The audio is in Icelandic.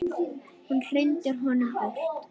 Hún hrindir honum burt.